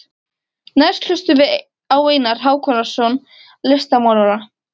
Næst hlustum við á Einar Hákonarson listmálara.